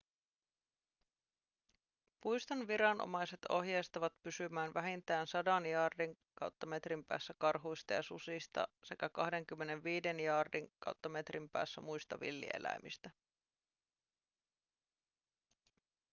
puiston viranomaiset ohjeistavat pysymään vähintään 100 jaardin/metrin päässä karhuista ja susista sekä 25 jaardin/metrin päässä muista villieläimistä